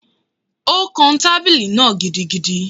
O kán tábìlì náà gidigidi